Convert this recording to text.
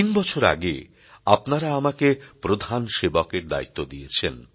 তিন বছর আগে আপনারা আমাকে প্রধান সেবকের দায়িত্ব দিয়েছেন